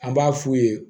An b'a f'u ye